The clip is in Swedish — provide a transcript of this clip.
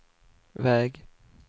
väg